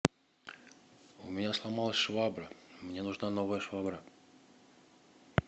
у меня сломалась швабра мне нужна новая швабра